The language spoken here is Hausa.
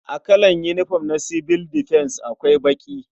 A kalar yinifom na sibil difens akwai baƙi.